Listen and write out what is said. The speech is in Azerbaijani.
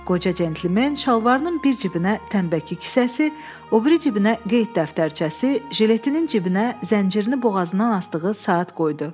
Qoca centlimen şalvarının bir cibinə tənbəki kisəsi, o biri cibinə qeyd dəftərçəsi, jiletinin cibinə zəncirini boğazından asdığı saat qoydu.